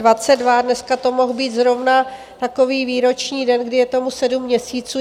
Dneska to mohl být zrovna takový výroční den, kdy je tomu sedm měsíců.